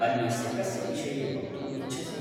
अन्यस्य कस्य विषये वक्तुम् इच्छसि?